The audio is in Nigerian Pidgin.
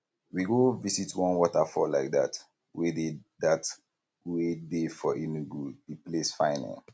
we go visit one waterfall like dat wey dey dat wey dey for enugu the place fine eh